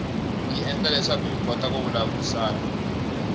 yi endla leswaku hi kota ku vulavurisana